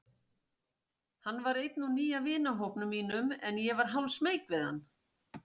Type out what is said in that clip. Hann var einn úr nýja vinahópnum mínum en ég var hálfsmeyk við hann.